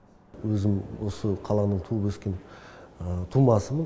өзім осы қаланың туып өскен тумасымын